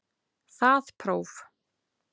Það próf